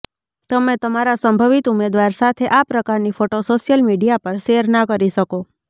તમે તમારા સંભવિત ઉમેદવાર સાથે આ પ્રકારની ફોટો સોશિયલ મીડિયા પર શેર ના કરી શકો